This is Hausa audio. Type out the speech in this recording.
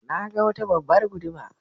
Na ga wata babbar guduma.